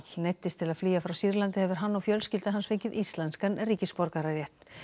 neyddist til að flýja frá Sýrlandi hefur hann og fjölskylda hans fengið íslenskan ríkisborgararétt